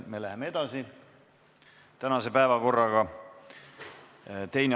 Me läheme tänase päevakorraga edasi.